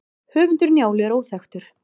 höfundur njálu er óþekktur